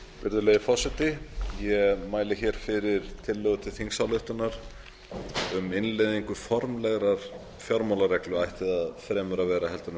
virðulegi forseti ég mæli hér fyrir tillögu til þingsályktunar um um innleiðingu formlegrar fjármálareglu ætti það fremur að vera heldur